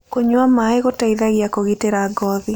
Kũnyua mae gũteĩthagĩa kũgĩtĩra ngothĩ